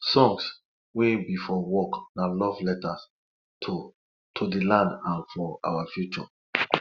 songs wey be for work na love letters to to de land and our future